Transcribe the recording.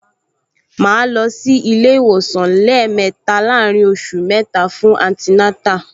Màá lọ sí ilé-ìwòsàn lẹ́ẹ̀mẹta láàárín oṣù mẹ́ta fún antinátà